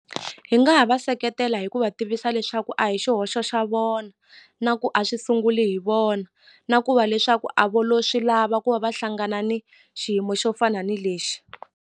Hi nga ha va seketela hi ku va tivisa leswaku a hi xihoxo xa vona na ku a swi sunguli hi vona na ku va leswaku a vo lo swi lava ku va va hlangana ni xiyimo xo fana ni lexi.